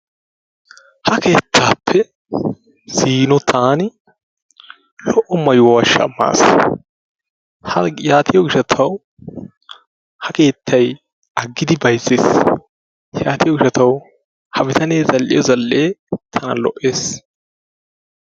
Ha keettappe ziino taan lo''o maayuwa shammas yaatiyo gishshatawu ha keettay aggidi bayzzes yaatiyo gishshatawu ha bitanee zal''iyo zal''e tana lo''ees.